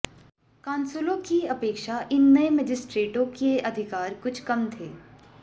कांसुलों की अपेक्षा इन नए मजिस्ट्रेटों के अधिकार कुछ कम थे